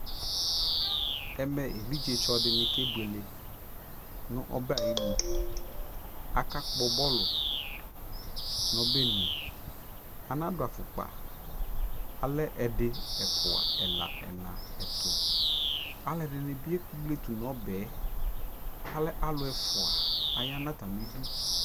ɛmɛ ɛvidzɛ tsɔ dini kɛ bʋɛlɛ nʋ ɔbɛ ayinʋ, aka gbɔ bɔlʋ nʋ ɔbɛnʋ, ana dʋ aƒʋkpa, alɛ ɛdi, ɛƒʋa, ɛla ɛtʋ, alʋɛdini bi ɛkplɛtʋ nʋ ɔbɛ, alɛ alʋ ɛƒʋa aya nʋ atami idʋ